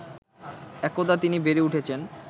একদা তিনি বেড়ে উঠেছেন